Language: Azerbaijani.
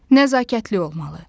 Nəzakətli olmalı.